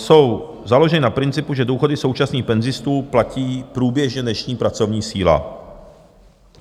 Jsou založeny na principu, že důchody současných penzistů platí průběžně dnešní pracovní síla.